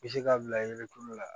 Bɛ se k'a bila ye tulo la